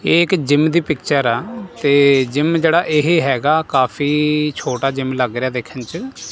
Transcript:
ਇਹ ਇੱਕ ਜਿਮ ਦੀ ਪਿਕਚਰ ਆ ਤੇ ਜਿਮ ਜਿਹੜਾ ਇਹ ਹੈਗਾ ਕਾਫੀ ਛੋਟਾ ਜਿਮ ਲੱਗ ਰਿਹਾ ਦੇਖਣ ਚ।